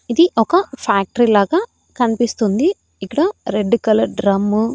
ఇది ఒక ఫ్యాక్టరీ లాగా కనిపిస్తుంది ఇక్కడ రెడ్ కలర్ డ్రమ్ము --